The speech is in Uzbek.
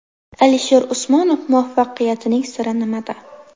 Alisher Usmonov muvaffaqiyatining siri nimada?.